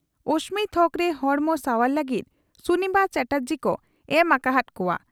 ᱚᱥᱢᱤ ᱛᱷᱚᱠᱨᱮ ᱦᱚᱲᱢᱚ ᱥᱟᱣᱟᱨ ᱞᱟᱹᱜᱤᱫ ᱥᱩᱱᱤᱯᱟ ᱪᱟᱴᱟᱨᱡᱤ ᱠᱚ ᱮᱢ ᱟᱠᱟ ᱦᱟᱫ ᱠᱚᱣᱟ ᱾